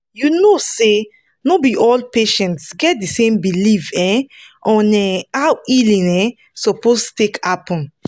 you know say no be all patients get the same belief um on um how healing um suppose take happen